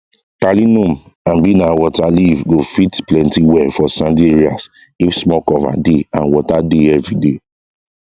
talinum abi na waterleaf go fit plenty well for sandy areas if small cover dey and water dey everyday